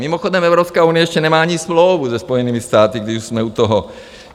Mimochodem, Evropská unie ještě nemá ani smlouvu se Spojenými státy, když už jsme u toho.